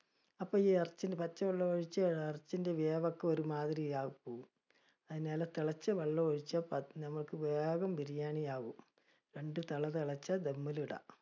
അപ്പ ഈ ഇറച്ചിന് പച്ചവെള്ളം ഒഴിച്ച്, ഇറച്ചിയുടെ വേവ് ഒക്കെ ഒരുമാതിരിയായി പോകും, അതിനാല് തിളച്ചവെള്ളം ഒഴിച്ച് ഞമ്മക്ക് വേഗം biryani ആകും. രണ്ട് തിള തിളച്ചാൽ dum ല് ഇടാം.